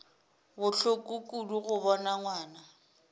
bohloko kudu go bona ngwana